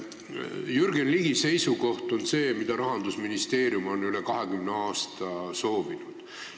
Jürgen Ligi seisukoht on see, mida Rahandusministeerium on üle 20 aasta soovinud.